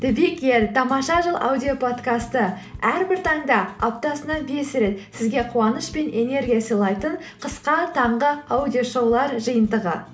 тамаша жыл аудиоподкасты әрбір таңда аптасына бес рет сізге қуаныш пен энергия сыйлайтын қысқа таңғы аудиошоулар жиынтығы